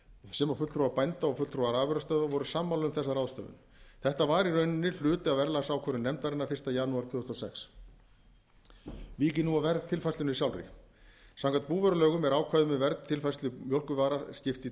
sem og fulltrúar bænda og fulltrúar afurðastöðva voru sammála um þessa ráðstöfun þetta var í rauninni hluti af verðlagsákvörðun nefndarinnar fyrsta janúar tvö þúsund og sex vík ég nú að verðtilfærslunni sjálfri samkvæmt búvörulögum er ákvæðum um verðtilfærslu mjólkurvara skipt í